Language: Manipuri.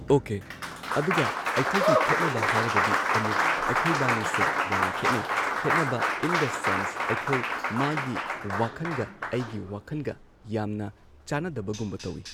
ꯑꯣꯀꯦ ꯑꯗꯨꯒ ꯑꯩꯈꯣꯏꯒꯤ ꯈꯦꯠꯅꯕ ꯍꯥꯏꯔꯒꯗꯤ ꯑꯃꯨꯛ ꯑꯩꯈꯣꯏꯕꯥꯅꯤꯁꯦ ꯌꯥꯝꯅ ꯈꯦꯠꯅꯩ ꯈꯦꯠꯅꯕ ꯏꯟ ꯗ ꯁꯦꯟꯁ ꯑꯩꯈꯣꯏ ꯃꯥꯒꯤ ꯋꯥꯈꯟꯒ ꯑꯩꯒꯤ ꯋꯥꯈꯟꯒ ꯌꯥꯝꯅ ꯆꯥꯟꯅꯗꯕꯒꯨꯝꯕ ꯇꯧꯏ꯫